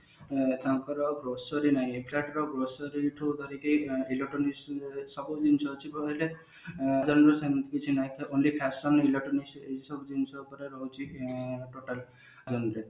ତାଙ୍କର grocery ନାହିଁ grocery ଠୁ ଧରିକି electronics ସବୁ ଜିନିଷ ଥିବ ହେଲେ ତାହେଲେ ସେମତି କିଛି ନାହଁ only fashion electronics ଏଇସବୁ ଜିନିଷ ଉପରେ ରହୁଛି ଆଁ total